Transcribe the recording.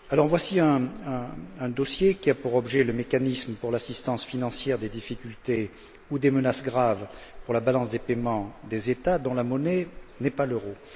Voici un dossier qui a pour objet le mécanisme d'assistance financière en cas de difficultés ou de menace grave pour la balance des paiements des États dont la monnaie n'est pas l'euro.